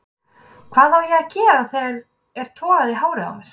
Hvað á ég að gera þegar er togað í hárið á mér?